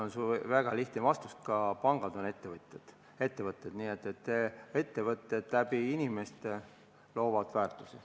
Annan väga lihtsa vastuse: ka pangad on ettevõtted ning väärtusi loovad ettevõtted inimeste kaudu.